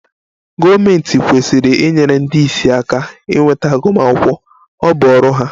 Gọọmentị kwesịrị inyere ndị ìsì aka inweta agụmakwụkwọ, ọ bụ ọrụ ha